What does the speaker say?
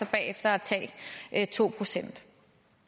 derefter at tage to procent